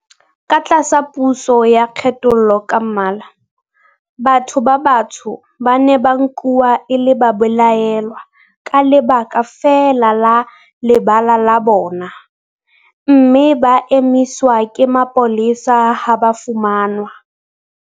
Ka tlasa puso ya kgethollo ka mmala, batho ba batsho ba ne ba nkuwa e le babelaellwa ka lebaka feela la lebala la bona, mme ba emiswa ke mapolesa ha ba fumanwa